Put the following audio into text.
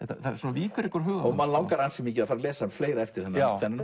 víkur ekki úr huga manns og mann langar ansi mikið að fara að lesa fleira eftir hann já